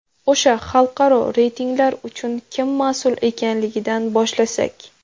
O‘sha xalqaro reytinglar uchun kim mas’ul ekanligidan boshlasak.